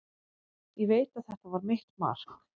Ég veit að þetta var mitt mark.